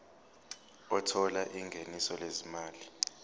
othola ingeniso lezimali